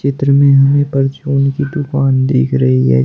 चित्र में हमें परचून की दुकान दिख रही है।